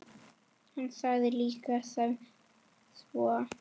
Hann sagði líka sem svo